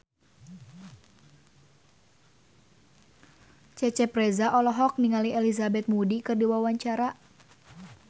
Cecep Reza olohok ningali Elizabeth Moody keur diwawancara